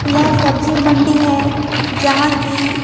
यह सब्जी मंडी है जहां की।